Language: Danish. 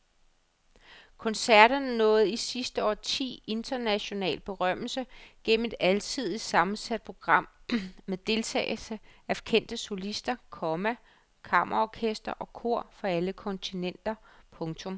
Koncerterne nåede i sidste årti international berømmelse gennem et alsidigt sammensat program med deltagelse af kendte solister, komma kammerorkestre og kor fra alle kontinenter. punktum